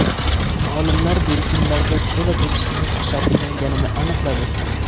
Olimlar delfinlarda to‘la-to‘kis nutq shakllanganini aniqladi.